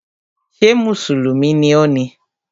Ṣé mùsùlùmí ni ọ?